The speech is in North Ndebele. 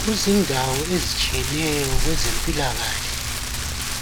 Kuzindawo ezitshiyeneyo kwezempilakahle,